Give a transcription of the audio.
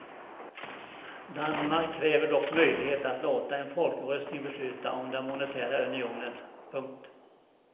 Danmark kräver dock möjlighet att låta en folkomröstning besluta om den monetära unionen. punkt